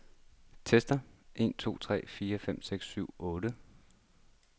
Tester en to tre fire fem seks syv otte.